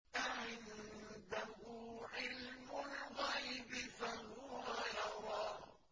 أَعِندَهُ عِلْمُ الْغَيْبِ فَهُوَ يَرَىٰ